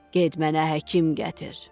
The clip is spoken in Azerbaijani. Get mənə həkim gətir.